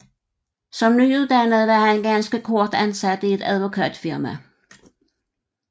Som nyuddannet var han ganske kort ansat i et advokatfirma